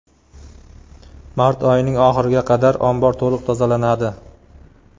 Mart oyining oxiriga qadar ombor to‘liq tozalanadi.